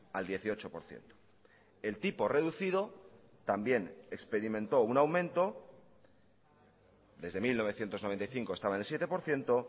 al dieciocho por ciento el tipo reducido también experimentó un aumento desde mil novecientos noventa y cinco estaba en el siete por ciento